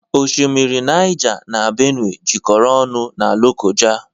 Oshimmiri Nija n'Benue jekoro ọnụ n'Lokoja